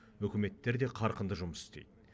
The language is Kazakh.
үкіметтер де қарқынды жұмыс істейді